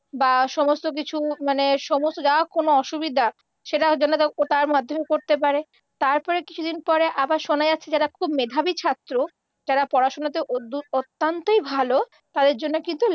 বা সমস্ত কিছু মানে সমস্ত যা কোনও অসুবিধা সেটাও যেন ওটার মাধ্যমে করতে পারে, তারপর কিছুদিন পরে আবার শোনা যাচ্ছে যারা খুব মেধাবী ছাত্র, যারা পড়াশুনাতে, অত দুত, অত্যান্তই ভালো, তাদের জন্য কিন্তু